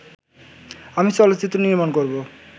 আমি চলচ্চিত্র নির্মাণ করব